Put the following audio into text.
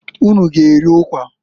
Ụnụ a g'eri ụkwa?